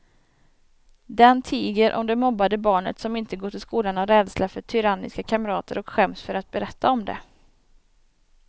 Den tiger om det mobbade barnet som inte går till skolan av rädsla för tyranniska kamrater och skäms för att berätta om det.